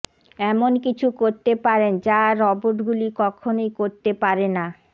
এমন কিছু করতে পারেন যা রবোটগুলি কখনো করতে পারে না